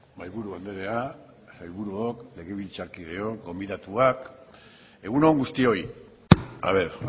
mahai buru andrea sailburuok legebiltzar kideok gonbidatuak egun on guztioi haber